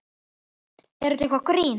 Er þetta eitthvað grín?